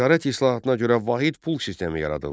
Ticarət islahatına görə vahid pul sistemi yaradıldı.